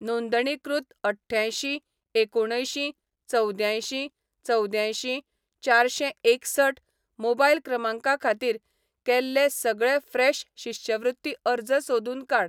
नोंदणीकृत अठ्ठ्यायशीं एकुणअंयशीं चवद्यांयशीं चवद्यांयशीं चारशेंएकसठ मोबायल क्रमांका खातीर, केल्ले सगळे फ्रेश शिश्यवृत्ती अर्ज सोदून काड.